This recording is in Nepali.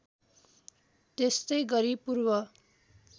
त्यस्तै गरी पूर्व